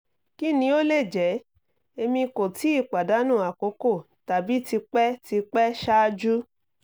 kini o le jẹ? emi ko ti padanu akoko tabi ti pẹ ti pẹ ṣaaju